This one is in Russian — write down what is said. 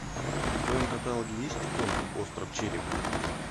в твоем каталоге есть конг остров черепа